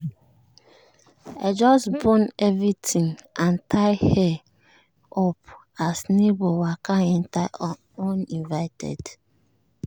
i just bone everything and tie hair up as neighbour waka enter uninvited.